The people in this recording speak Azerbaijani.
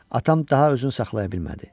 Atam daha özünü saxlaya bilmədi.